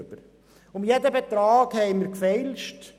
Wir haben um jeden Betrag gefeilscht.